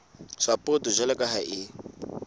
sapoto jwalo ka ha e